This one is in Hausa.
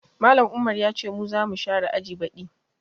Mallam Umar ya ce mu za mu share aji baɗi